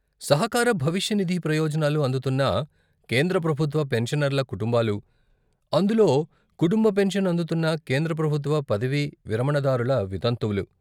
సహకార భవిష్య నిధి ప్రయోజనాలు అందుతున్న కేంద్ర ప్రభుత్వ పెన్షనర్ల కుటుంబాలు, అందులో కుటుంబ పెన్షన్ అందుతున్న కేంద్ర ప్రభుత్వ పదవీ విరమణదారుల వితంతువులు.